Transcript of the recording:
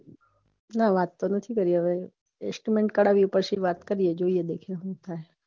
હા વાત કરીએ છીએ estimate કાઢવી પછી વાત કરીએ